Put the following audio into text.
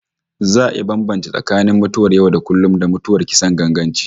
Za a iya bambance tsakanin mutuwar yau-da-kullum, da mutuwar kisan ganganci